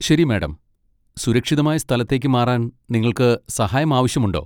ശരി, മാഡം, സുരക്ഷിതമായ സ്ഥലത്തേക്ക് മാറാൻ നിങ്ങൾക്ക് സഹായം ആവശ്യമുണ്ടോ?